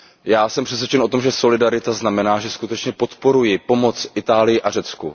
Já jsem přesvědčen o tom, že solidarita znamená, že skutečně podporuji pomoc Itálii a Řecku.